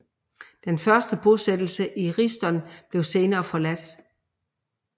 Den første bosættelse i Risdon blev senere forladt